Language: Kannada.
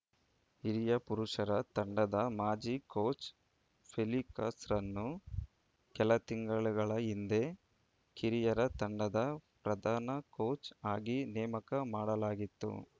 ಹಿರಿಯ ಪುರುಷರ ತಂಡದ ಮಾಜಿ ಕೋಚ್‌ ಫೆಲಿಕ್ಸ್‌ರನ್ನು ಕೆಲ ತಿಂಗಳುಗಳ ಹಿಂದೆ ಕಿರಿಯರ ತಂಡದ ಪ್ರಧಾನ ಕೋಚ್‌ ಆಗಿ ನೇಮಕ ಮಾಡಲಾಗಿತ್ತು